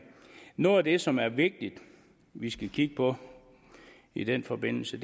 noget af det som det er vigtigt at vi skal kigge på i den forbindelse